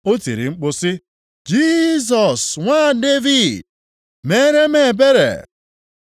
O tiri mkpu sị, “Jisọs nwa Devid, meere m ebere!”